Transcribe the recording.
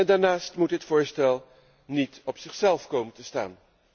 Daarnaast moet dit voorstel niet op zichzelf komen te staan.